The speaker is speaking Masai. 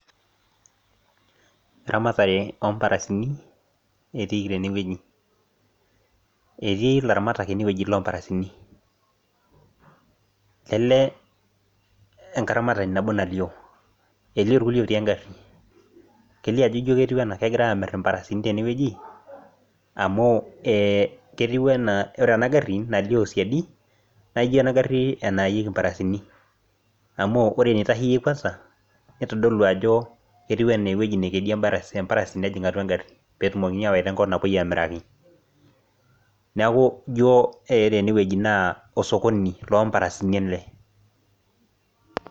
Eramatare omparasini etiiki tenewueji , etii ilaramatak ene loomparasini lele enkaramatani natii engari , neti irkulie otii engari , kelio ajo ijo kegirae amir imparasini tenewueji amu ketiu anaa ore enagari nalio siadi naa ijo enagari enaayieki imparasini amuore enitasheyie kwanza , itodolu ajo etiu enaa ewueji nekedie emparasi nejia atua engari petumokini awaita enkop napuoi amiraki , niaku ijo ore enewueji naa sokoni lomparasini ele .